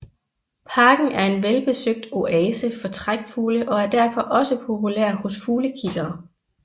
Parken er en velbesøgt oase for trækfugle og er derfor også populær hos fuglekiggere